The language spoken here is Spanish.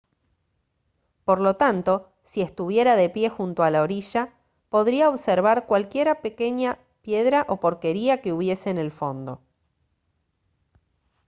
por lo tanto si estuviera de pie junto a la orilla podría observar cualquier pequeña piedra o porquería que hubiese en el fondo